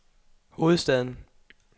hovedstaden